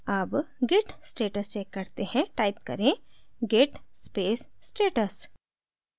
अब git status check करते हैं टाइप करें git space status